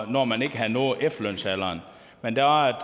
når man ikke havde nået efterlønsalderen men der var